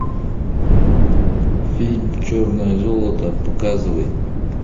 фильм черное золото показывай